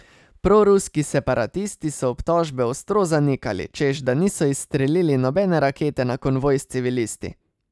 Proruski separatisti so obtožbe ostro zanikali, češ da niso izstrelili nobene rakete na konvoj s civilisti.